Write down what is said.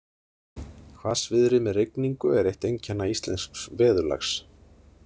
Hvassviðri með rigningu er eitt einkenna íslensks veðurlags.